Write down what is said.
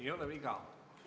Ei ole viga.